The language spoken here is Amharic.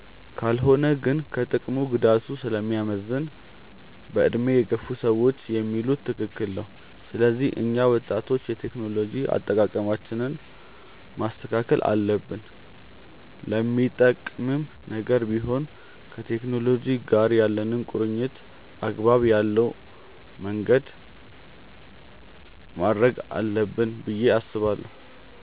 ካልሆነ ግን ከጥቅሙ ጉዳቱ ስለሚያመዝን በዕድሜ የገፉ ሰዎች የሚሉት ትክክል ነው። ስለዚህ እኛ ወጣቶች የቴክኖሎጂ አጠቃቀማችንን ማስተካከል አለብን። ለሚጠቅምም ነገር ቢሆን ከቴክኖሎጂ ጋር ያለንን ቁርኝነት አግባብ ያለው ማድረግ አለብን ብዬ አስባለሁ።